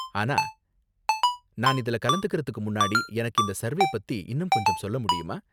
ஆனா நான் இதுல கலந்துக்கறதுக்கு முன்னாடி எனக்கு இந்த சர்வே பத்தி இன்னும் கொஞ்சம் சொல்ல முடியுமா?